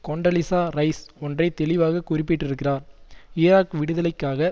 Condoleezza Rice ஒன்றை தெளிவாக குறிப்பிட்டிருக்கிறார் ஈராக் விடுதலைக்காக